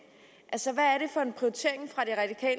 så